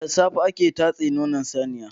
Da safe ake tatse nonon saniya.